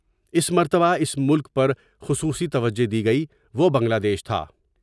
اس مرتبہ اس ملک پر خصوصی توجہ دی گئی وہ بنگلہدیش تھا